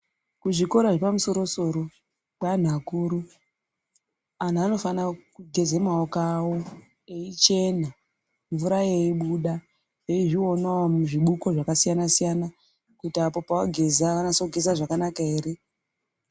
Kuzvikora zvepamusoro-soro. Kweanhu akuru anhu anofana kugeze maoko awo eichena mvura yeibuda eizvionawo muzvibuko zvakasiyana -siyana kuti apo pavageza vanase kugeza zvakanaka ere.